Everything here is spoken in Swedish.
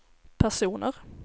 personer